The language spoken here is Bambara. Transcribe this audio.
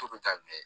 Turu daminɛ